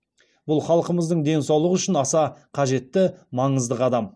бұл халқымыздың денсаулығы үшін аса қажетті маңызды қадам